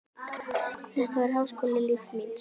Þetta var háskóli lífs míns.